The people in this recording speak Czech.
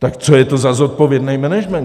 Tak co je to za zodpovědný management?